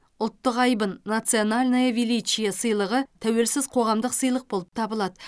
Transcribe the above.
ұлттық айбын национальное величие сыйлығы тәуелсіз қоғамдық сыйлық болып табылады